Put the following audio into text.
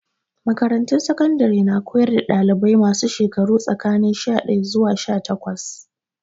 Makarantun sakandare na koyar da dalibai masu shekaru tsakanin sha daya zuwa sha takwas.